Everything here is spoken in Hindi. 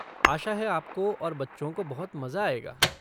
आशा है आपको और बच्चों को बहुत मज़ा आएगा।